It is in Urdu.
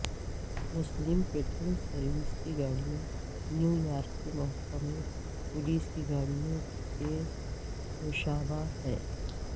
مسلم پیٹرول سروس کی گاڑیاں نیویارک کے محکمہ پولیس کی گاڑیوں کے مشابہ ہیں